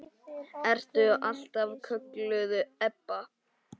Ertu alltaf kölluð Ebba?